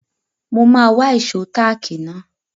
Mo máa wá ìṣó táàkì náà.